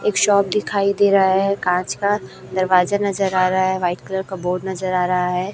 एक शॉप दिखाई दे रहा है कांच का दरवाजा नजर आ रहा है व्हाइट कलर का बोर्ड नजर आ रहा है।